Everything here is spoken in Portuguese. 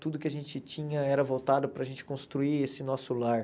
Tudo que a gente tinha era voltado para a gente construir esse nosso lar.